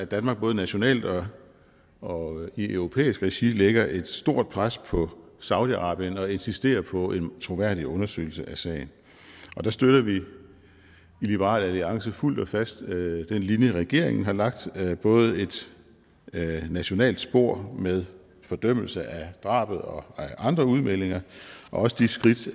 danmark både nationalt og og i europæisk regi lægger et stort pres på saudi arabien og insisterer på en troværdig undersøgelse af sagen der støtter vi i liberal alliance fuldt og fast den linje regeringen har lagt både et nationalt spor med fordømmelse af drabene og andre udmeldinger og også de skridt